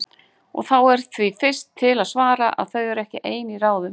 Og þá er því fyrst til að svara, að þau eru ekki ein í ráðum.